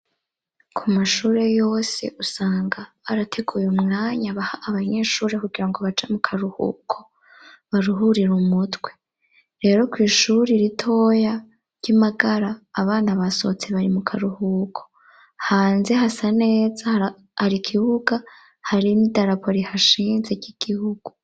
ku mashure yose usanga barateguye umwanya baha abanyeshuri kugira ngo baje mu karuhuko baruhurira umutwe, rero ku ishuri ritoya ry'imagara abana basohotse bari mu karuhuko, hanze hasa neza har'ikibuga hari n'idarapo rihashinze ry'igihugu.